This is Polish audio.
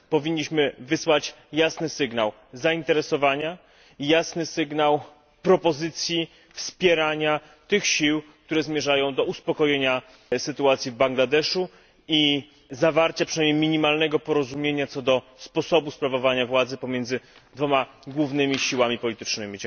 Powinniśmy wysłać jasny sygnał zainteresowania i jasny sygnał propozycji wspierania tych sił, które zmierzają do uspokojenia sytuacji w Bangladeszu i zawarcia przynajmniej minimalnego porozumienia co do sposobu sprawowania władzy pomiędzy dwiema głównymi siłami politycznymi.